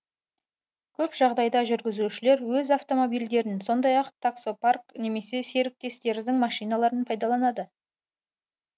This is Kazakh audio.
көп жағдайда жүргізушілер өз автомобильдерін сондай ақ таксопарк немесе серіктестердің машиналарын пайдаланады